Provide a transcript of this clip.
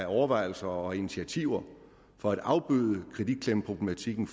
overvejelser og initiativer for at afbøde kreditklemmeproblematikken